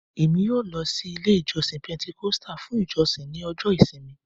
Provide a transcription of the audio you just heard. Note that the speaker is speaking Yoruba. Emi yoo lọ si ile ijọsin Pentecostal fun ijosin ni ọjọ ìsinmi